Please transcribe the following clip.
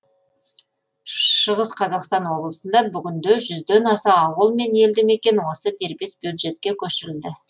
шығыс қазақстан облысында бүгінде жүзден аса ауыл мен елді мекен осы дербес бюджетке көшірілді